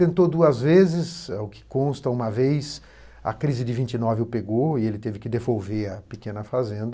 Tentou duas vezes, ao que consta, uma vez a crise de vinte e nove o pegou e ele teve que devolver a pequena fazenda.